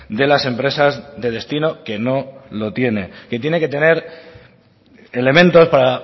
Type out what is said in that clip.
de las empresas de destino que no lo tiene que tiene que tener elementos para